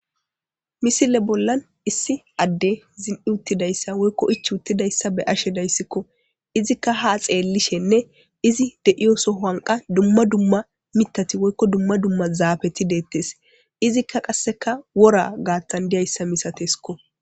Misile bollan issi addey zin'i uttidayssa woykko ichchi uttidayssa be'ashe dayssekko izikka haa xeelishenne kasi dumma dumma mithati woykko dumma zaapeti de7etesizika kasseka wora gaathan dizayssa masatesiko.